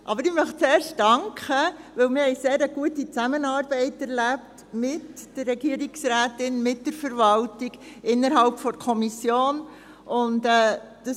Aber ich möchte zuerst danken, weil wir mit der Regierungsrätin, mit der Verwaltung und innerhalb der Kommission eine sehr gute Zusammenarbeit erlebt haben.